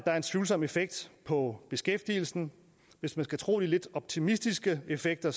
er en tvivlsom effekt på beskæftigelsen hvis man skal tro de lidt optimistiske effekter